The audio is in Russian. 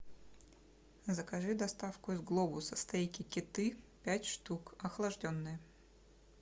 закажи доставку из глобуса стейки кеты пять штук охлажденные